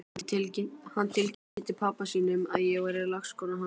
Hann tilkynnti pabba sínum að ég væri lagskona hans!